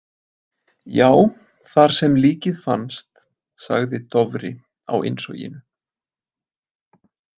Já, þar sem líkið fannst, sagði Dofri á innsoginu.